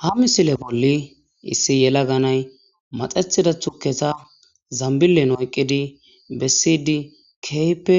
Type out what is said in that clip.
ha misile bolli issi yela ganay maxethida thukesa zambilen oyqqidi bessiydi keehppe